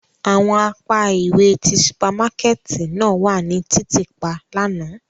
Awọn apa iwe ti supamakẹti náa wa ni titiipa làná.